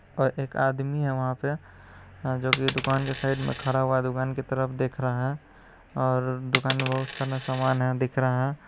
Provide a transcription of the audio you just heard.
और एक आदमी है वहां पे जो कि दुकान के साइड में खड़ा हुआ है और दुकान की तरफ देख रहा है । और दुकान मे बहुत सारा सामान है देख रहा है ।